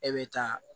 E bɛ taa